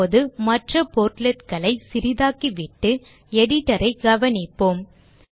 இப்போது மற்ற portlet களை சிறிதாக்கிவிட்டு Editor ஐ கவனிப்போம்